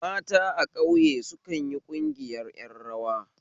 Mata a ƙauye sukanyi ƙungiyar ƴan rawa